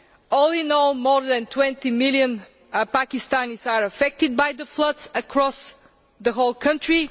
All in all, more than 20 million Pakistanis have been affected by the floods across the whole country.